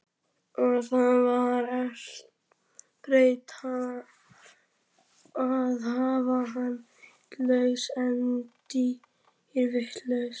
Og það var betra að hafa hana vitlausa en dýrvitlausa.